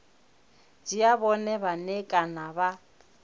dzhia vhone vhane kana vha